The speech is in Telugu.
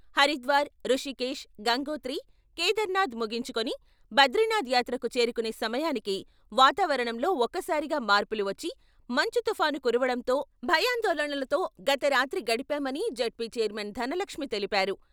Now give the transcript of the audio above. హరిద్వార్, రుషికేష్, గంగోత్రి, కేధార్ నాథ్ ముగించుకుని బ్రదీనాథ్ యాత్రకు చేరుకునే సమయానికి వాతావరణంలో ఒక్క సారిగా మార్పులు వచ్చి మంచు తుఫాను కురవడంతో భయాందోళనలతో గత రాత్రి గడిపామని జెడ్పీ చైర్మన్ ధనలక్ష్మీ తెలిపారు.